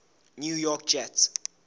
new york jets